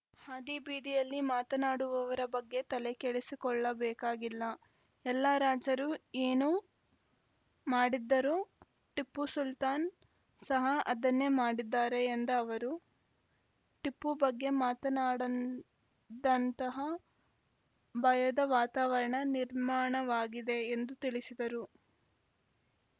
ಹಾದಿ ಬೀದಿಯಲ್ಲಿ ಮಾತನಾಡುವವರ ಬಗ್ಗೆ ತಲೆ ಕೆಡಿಸಿಕೊಳ್ಳಬೇಕಾಗಿಲ್ಲ ಎಲ್ಲಾ ರಾಜರು ಏನು ಮಾಡಿದ್ದಾರೊ ಟಿಪ್ಪು ಸುಲ್ತಾನ್‌ ಸಹ ಅದನ್ನೆ ಮಾಡಿದ್ದಾರೆ ಎಂದ ಅವರು ಟಿಪ್ಪು ಬಗ್ಗೆ ಮಾತನಾಡನ ದಂತಹ ಬಯದ ವಾತಾವರಣ ನಿರ್ಮಾಣವಾಗಿದೆ ಎಂದು ತಿಳಿಸಿದರು